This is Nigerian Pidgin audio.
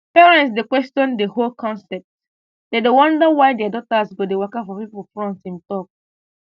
parents dey question di whole concept dem dey wonder why dia daughters go dey waka for pipo front im tok